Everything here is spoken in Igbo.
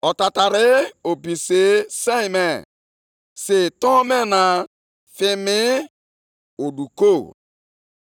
Nʼihu ya ka ajọ ọrịa na-efe efe na-aga, oke mbibi na-esokwa ya nʼazụ.